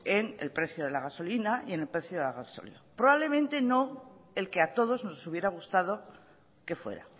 en el precio de la gasolina y en el precio del gasóleo probablemente no el que a todos nos hubiera gustado que fuera